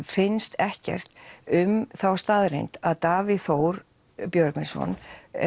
finnst ekkert um þá staðreynd að Davíð Þór Björgvinsson